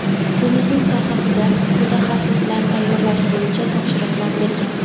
turizm sohasida mutaxassislar tayyorlash bo‘yicha topshiriqlar bergan.